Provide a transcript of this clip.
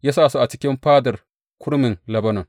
Ya sa su a cikin Fadar Kurmin Lebanon.